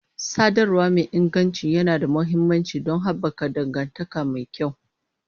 Sadarwa mai inganci yana da mahimmanci don haɓaka dangantaka mai kyau.